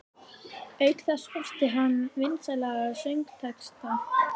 Auk þess orti hann vinsæla söngtexta.